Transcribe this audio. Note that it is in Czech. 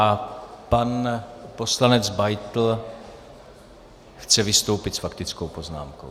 A pan poslanec Beitl chce vystoupit s faktickou poznámkou.